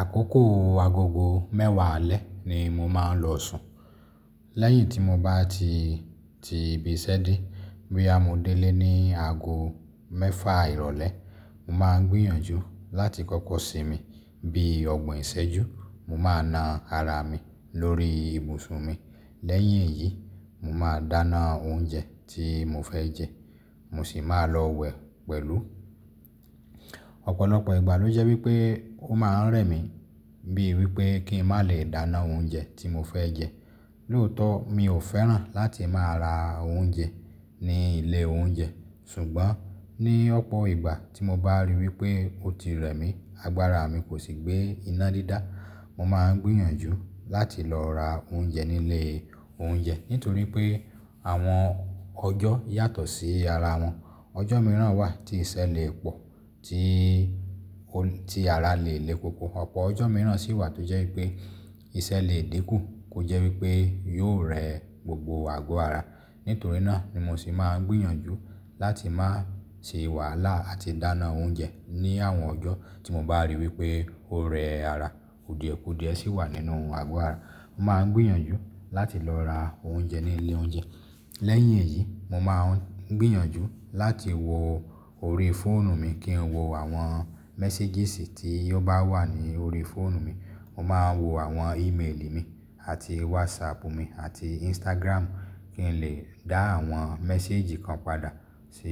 Àkókò agogo mẹ́wàá alẹ́ ni mo máa ń lọ sùn. Lẹ́yìn tí mo bá ti ti ibi iṣẹ́ dé, boya mo delé ní ago mẹ́fà ìrọ̀lẹ́, mo máa ń gbìyànjú láti kọ́kọ́ sinmi bí ọgbọ̀n ìṣẹ́jú. Mo máa na ara mi lórí ibùsùn mi. Lẹ́yìn èyí, mo máa dáná oúnjẹ tí mo fẹ́ jẹ, mo sì máa lọ wẹ̀ pẹ̀lú. Ọ̀pọ̀lọpọ̀ ìgbà ló jẹ́ wípé ó máa ń rẹ̀ mí bíi wípé kí n má lè dáná oúnjẹ tí mo fẹ́ jẹ. Lóòótọ́, mi ò fẹ́ràn láti máa ra oúnjẹ ní ilé oúnjẹ. Sùgbọ́n ní ọ̀pọ̀ ìgbà tí mo bá ríi wípé ó ti rẹ̀ mí, agbára mi kò sì gbé iná dídá, mo máa ń gbìyànjú láti lọ ra oúnjẹ ní ilé oúnjẹ nítorí pé àwọn ọjọ́ yàtọ̀ sí ara wọn. Ọjọ́ mìíràn wà tí iṣẹ́ lè pọ̀ tí ti ara lè le koko. Ọ̀pọ̀ ọjọ́ mìíràn sì wà tó jẹ́ wípé iṣẹ́ lè dínkù kó jẹ́ wípé yóò rẹ́ gbogbo àgọ́ ara. Nítorí náà ni mo sì máa ń gbìyànjú láti má ṣe wàhálà àti dáná oúnjẹ ní àwọn ọjọ́ tí mo bá ríi wípé ó rẹ́ ara. Kudiẹ̀ kudìẹ̀ sì wà nínú àgọ́ ara. Mo máa ń gbìyànjú láti lọ ra oúnjẹ ní ilé oúnjẹ. Lẹ́yìn èyí, mo máa ń gbìyànjú láti wo orí fóònù mi kí n wo àwọn méséjìsì tí ó bá wà ní orí fóònù mi. Mo máa ń wo àwọn ímeèlì mi, àti wásáàpù mi, àti ísítágírámù, kí n lè dá àwọn méséjì kan padà sí